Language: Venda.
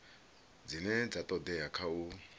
dzine dza todea kha u